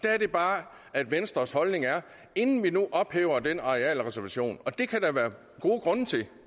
er det bare at venstres holdning er at inden vi nu ophæver den arealreservation det kan der være gode grunde til